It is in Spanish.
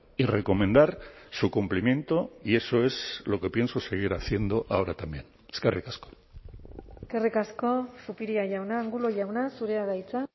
y recomendar su cumplimiento y eso es lo que pienso seguir haciendo ahora también eskerrik asko eskerrik asko zupiria jauna angulo jauna zurea da hitza